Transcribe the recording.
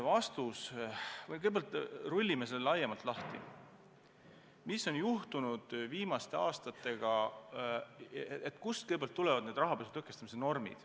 Kõigepealt rullime laiemalt lahti, mis on juhtunud viimastel aastatel ja kust ikkagi tulevad need rahapesu tõkestamise normid.